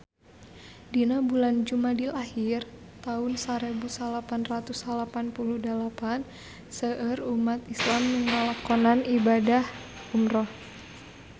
Dina bulan Jumadil ahir taun sarebu salapan ratus salapan puluh dalapan seueur umat islam nu ngalakonan ibadah umrah